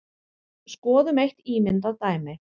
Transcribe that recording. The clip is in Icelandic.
Skoðum eitt ímyndað dæmi.